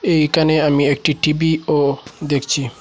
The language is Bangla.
এইখানে আমি একটি টিভিও দেখছি।